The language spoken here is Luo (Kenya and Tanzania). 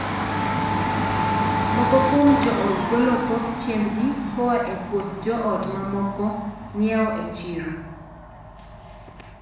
Moko kuom joot golo thoth chiembgi koa e puoth joot to mamoko ng'iewo e chiro.